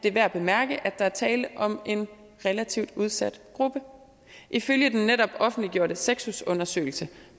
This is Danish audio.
er værd at bemærke at der er tale om en relativt udsat gruppe ifølge den netop offentliggjorte sexus undersøgelse